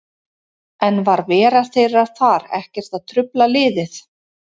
En var vera þeirra þar ekkert að trufla liðið?